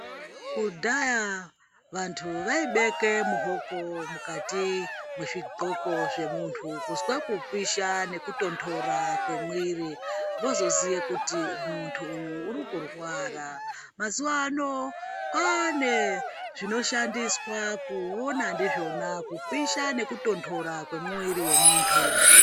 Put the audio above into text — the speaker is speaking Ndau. Kudhaya vantu vaibeke muoko mukati mwezvidxoko zvemuntu kuzwa kupisha nekutontora kwemwiri voxoziye kuti muntu uyu uri kurwara mazuwa ano kwaane zvinoshandiswe kuona ndizvona kupisha nekutontora kwemuwiri wemuntu.